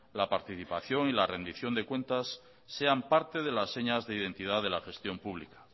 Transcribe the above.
la participación y la rendición de cuentas sean parte de la señas de identidad de la gestión pública